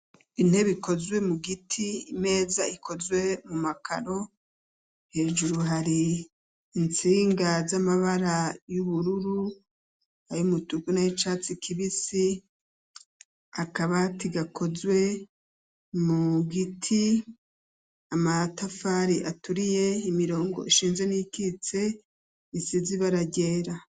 Intebe ikozwe mu giti imeza ikozwe mu makaro, hejuru hari intsinga z'amabara y'ubururu, ay'umutuku n'ay'icatsi kibisi ,akabati gakozwe mu giti ,amatafari aturiye ,imirongo ishinze n'iyikitse isize ibara ryera.